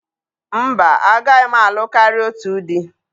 Mba, agaghị m alụ karịa otu di